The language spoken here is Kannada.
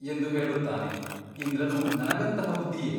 ಎಂದು ಹೇಳುತ್ತಾನೆ ಇಂದ್ರನು ನನಗಂತಹ ಬುದ್ಧಿಯೇ ?